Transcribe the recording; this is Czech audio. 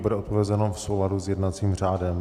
Bude odpovězeno v souladu s jednacím řádem.